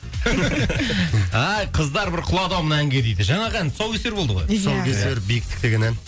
ай қыздар бір құлады ау мына әнге дейді жаңағы ән тұсаукесер болды ғой иә тұсаукесер биіктік деген ән